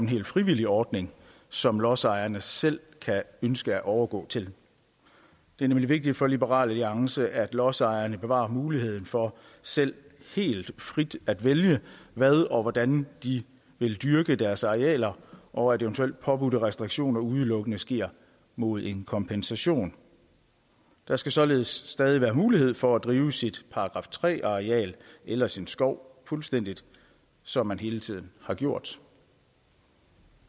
helt frivillig ordning som lodsejerne selv kan ønske at overgå til det er nemlig vigtigt for liberal alliance at lodsejerne bevarer muligheden for selv helt frit at vælge hvad og hvordan de vil dyrke deres arealer og at eventuelt påbudte restriktioner udelukkende sker mod en kompensation der skal således stadig være mulighed for at drive sit § tre areal eller sin skov fuldstændig som man hele tiden har gjort